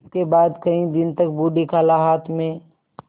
इसके बाद कई दिन तक बूढ़ी खाला हाथ में